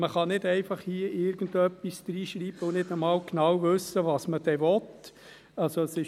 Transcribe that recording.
Man kann hier nicht einfach irgendetwas hineinschreiben und nicht einmal genau wissen, was man genau will.